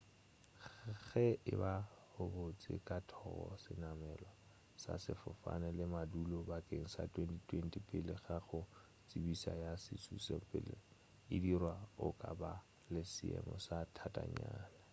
ge e ba o beetše ka thoko senamelwa sa sefofane le madulo bakeng sa 2020 pele ga go tsebišo ya šutišetšopele e dirwa o ka ba le seemo se thatanyana